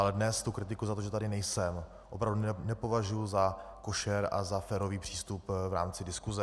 Ale dnes tu kritiku za to, že tady nejsem, opravdu nepovažuji za košer a za férový přístup v rámci diskuse.